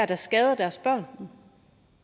der skader deres børn